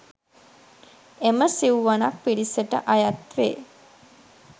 එම සිව්වනක් පිරිසට අයත් වේ.